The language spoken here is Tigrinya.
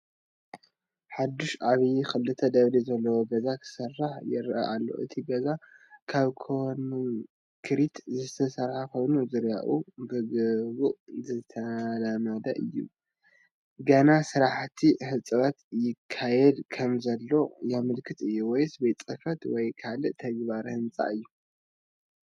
ሓድሽን ዓብን ክልተ ደብሪ ዘለዎ ገዛ ክስራሕ ይረአ ኣሎ። እቲ ገዛ ካብ ኮንክሪት ዝተሰርሐ ኮይኑ ዙርያኡ ብግቡእ ዝተለመደ እዩ። ገና ስራሕቲ ህንፀት ይካየድ ከምዘሎ ዘመልክት እዩ። ወይስ ቤት ጽሕፈት ወይ ካልእ ተግባራዊ ህንጻ እዩ?